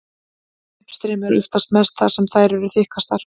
Uppstreymi er oftast mest þar sem þær eru þykkastar.